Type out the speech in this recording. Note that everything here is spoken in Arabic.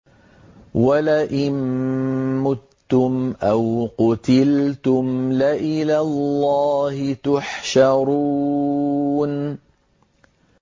وَلَئِن مُّتُّمْ أَوْ قُتِلْتُمْ لَإِلَى اللَّهِ تُحْشَرُونَ